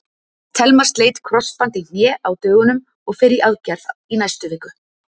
Telma sleit krossband í hné á dögunum og fer í aðgerð í næstu viku.